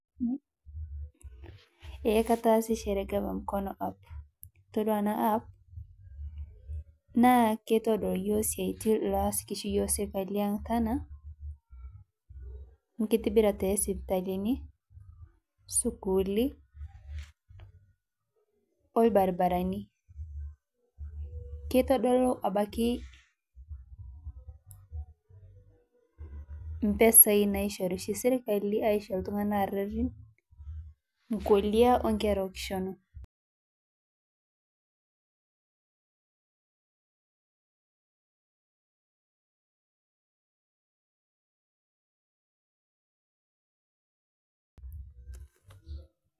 Eee kataasishore ena gava mkono app ore ena app naa keitodol yiok siatin oshi llasaki oshi yiok serkali ena enkitibirata oo sipitalini sukuli orbarabarani keitodolu abaiki mpesai naishoru oshi sirkali aisho ltungana aruarin nkolia o nkerra okishin